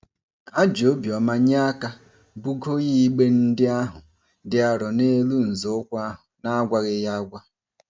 Ha ji obiọma nye aka bugoo igbe ndị ahụ dị arọ n'elu nzọụkwụ ahụ n'agwaghị ya agwa.